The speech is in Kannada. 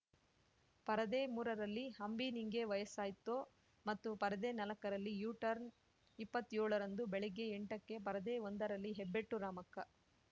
ಪರದೆ ಮೂರರಲ್ಲಿ ಅಂಬಿ ನಿಂಗೆ ವಯಸ್ಸಾಯ್ತೋ ಮತ್ತು ಪರದೆ ನಾಲ್ಕರಲ್ಲಿ ಯು ಟರ್ನ್‌ ಇಪ್ಪತ್ತ್ಯೋಳ ರಂದು ಬೆಳಗ್ಗೆ ಎಂಟಕ್ಕೆ ಪರದೆ ಒಂದರಲ್ಲಿ ಹೆಬ್ಬೆಟ್ಟು ರಾಮಕ್ಕ